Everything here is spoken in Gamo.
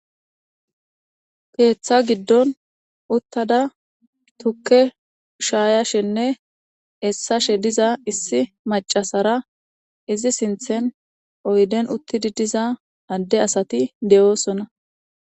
Keththa giddon uththida tukke sha'ishinne esashshe dizza issi mac'a asara oyidden uththidi dizza asati de'osona.